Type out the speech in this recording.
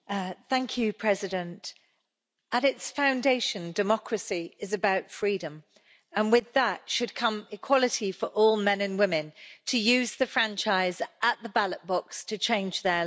Madam President, at its foundation, democracy is about freedom and with that should come equality for all men and women to use the franchise at the ballot box to change their lives.